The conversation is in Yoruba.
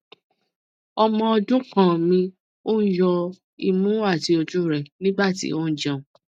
ọmọ ọdun kan mi n yọ imu ati oju rẹ nigbati o jẹun